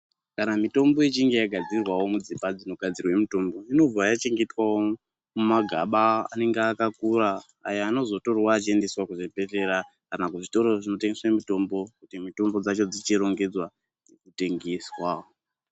Kana mitombo ichinge yakadzirwawo mudzimba dzinogadzirwe mitombo, inobva yachengetwawo mumagaba anenge akakura ayo anozotorwa echiendeswa kuzvibhedhlera kana kuzvitoro zvinotengeswe mitombo, kuti mitombo dzacho dzichiringedzwa kutengeswa.